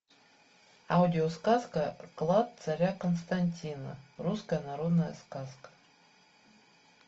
аудиосказка клад царя константина русская народная сказка